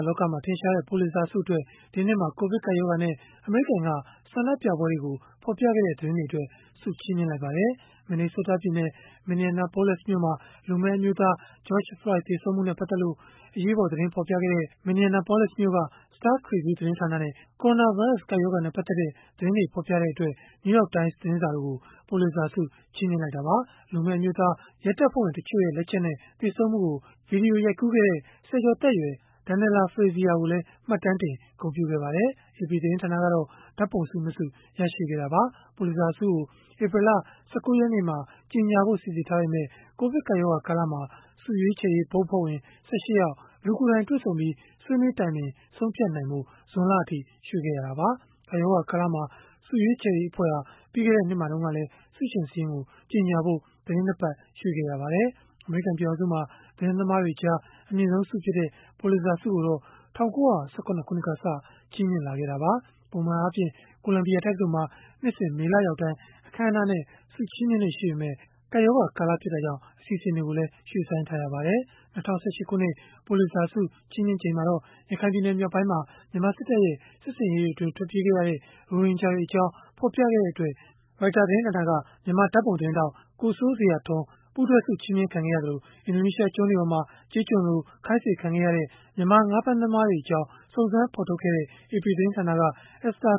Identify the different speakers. Speaker 1: လောကမှာ ထင်ရှားတဲ့ ပူလစ်ဇာဆုအတွက် ဒီနှစ်မှာ ကိုဗစ်ကပ်ရောဂါနဲ့ အမေရိကန်က ဆန္ဒပြပွဲတွေကို ဖော်ပြခဲ့တဲ့ သတင်းတွေအတွက် ဆုချီးမြှင့်လိုက်ပါတယ်။ Minnesota ပြည်နယ်၊ Minneapolis မြို့မှာ လူမည်းအမျိုးသား George Floyd သေဆုံးမှုနဲ့ ပတ်သက်လို့ အရေးပေါ် သတင်းဖော်ပြခဲ့တဲ့ Minneapolis မြို့က Star Tribune သတင်းဌာနနဲ့ ကိုရိုနာဗိုင်းရပ်စ် ကပ်ရောဂါနဲ့ ပတ်သက်တဲ့ သတင်းတွေဖော်ပြတဲ့အတွက် New York Times သတင်းစာတို့ကို ပူလစ်ဇာဆု ချီးမြှင့်လိုက်တာပါ။ လူမည်းအမျိုးသား Floyd ရဲတပ်ဖွဲ့ဝင် တချို့ရဲ့ လက်ချက်နဲ့ သေဆုံးမှုကို ဗွီဒီယိုရိုက်ကူးခဲ့တဲ့ ဆယ်ကျော်သက်ရွယ် Darnella Frazier ကိုလည်း မှတ်တမ်းတင် ဂုဏ်ပြုခဲ့ပါတယ်။ AP သတင်းဌာနကတော့ ဓာတ်ပုံဆု ၂ ဆု ရရှိခဲ့တာပါ။ ပူလစ်ဇာဆုကို ဧပြီလ ၁၉ ရက်နေ့မှာ ကြေညာဖို့ စီစဉ်ထားပေမဲ့ ကိုဗစ်ကပ်ရောဂါ ကာလမှာ ဆုရွေးချယ်ရေး ဘုတ်အဖွဲ့ဝင် ၁၈ ယောက် လူကိုယ်တိုင် တွေ့ဆုံပြီး ဆွေးနွေးတိုင်ပင် ဆုံးဖြတ်နိုင်ဖို့ ဇွန်လအထိ ရွှေ့ခဲ့ရတာပါ။ ကပ်ရောဂါကာလမှာ ဆုရွေးချယ်ရေးအဖွဲ့ဟာ ပြီးခဲ့တဲ့ နှစ်မှာတုန်းကလည်း ဆုရှင်စာရင်း ကြေညာဖို့ သီတင်း ၂ ပတ် ရွှေ့ခဲ့ရပါတယ်။ အမေရိကန် ပြည်ထောင်စုမှာ သတင်းသမားတွေကြား အမြင့်ဆုံးဆုဖြစ်တဲ့ ပူလစ်ဇာဆုကိုတော့ ၁၉၁၇ ခုနှစ်ကစတင် ချီးမြှင့်ခဲ့တာပါ။ ပုံမှန်အားဖြင့် ကိုလံဘီယာတက္ကသိုလ်မှာ နှစ်စဉ် မေလရောက်တိုင်း အခမ်းအနားနဲ့ ဆုချီးမြှင့်လေ့ရှိပေမဲ့ ကပ်ရောဂါကာလ ဖြစ်တာကြောင့် အစီအစဉ်တွေကိုလည်း ရွှေ့ဆိုင်းထားရပါတယ်။ ၂၀၁၈ ခုနှစ် ပူလစ်ဇာဆု ချီးမြှင့်ရာမှာတော့ ရခိုင်ပြည်နယ် မြောက်ပိုင်းမှာ မြန်မာစစ်တပ်ရဲ့ စစ်ဆင်ရေးတွေအတွင်း ထွက်ပြေးခဲ့ရတဲ့ ရိုဟင်ဂျာတွေအကြောင်း ဖော်ပြခဲ့တဲ့အတွက် Reuters သတင်းဌာနက မြန်မာဓာတ်ပုံသတင်းထောက် ကိုစိုးဇေယျထွန်း ပူးတွဲဆုချီးမြှင့်ခံခဲ့ရသလို၊ အင်ဒိုနီးရှားကျွန်းတွေပေါ်မှာ ကျေးကျွန်တွေလို ခိုင်းစေခံရတဲ့ မြန်မာငါးဖမ်းသမားတွေအကြောင်း စုံစမ်းဖော်ထုတ်ခဲ့တဲ့ AP သတင်းဌာနက Esther